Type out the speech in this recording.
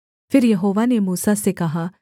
फिर यहोवा ने मूसा से कहा